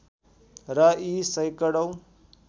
र यी सैकडौँ